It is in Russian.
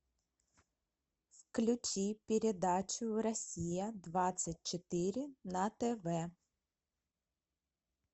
включи передачу россия двадцать четыре на тв